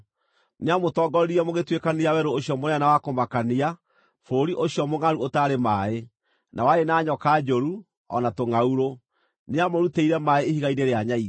Nĩamũtongoririe mũgĩtũĩkanĩria werũ ũcio mũnene na wa kũmakania, bũrũri ũcio mũngʼaru ũtarĩ maaĩ, na warĩ na nyoka njũru, o na tũngʼaurũ. Nĩamũrutĩire maaĩ ihiga-inĩ rĩa nyaigĩ.